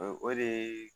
O de ye